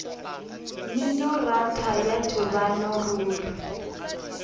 mminoratho temana ya ntlabile ruri